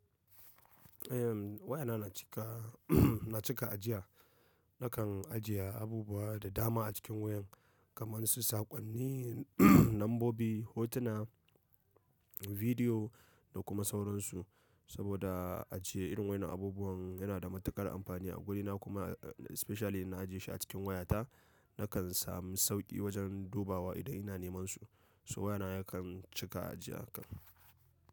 Eh waya na cika, na cika ajiya. Nakan ajiye abubuwa da dama a cikin wayan kamar su saƙonni, nambobi, hotuna, bidiyo da kuma sauran su. Saboda ace irin wayan nan abubuwan yana da matuƙar amfani a wurina kuma especially na ajiye shi a cikin wayata. Nakan samu sauƙi wajen dubawa idan ina neman su. So wayana yakan cika ajiya.